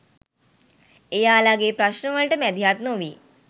එයාලගේ ප්‍රශ්ණ වලට මැදිහත් නොවී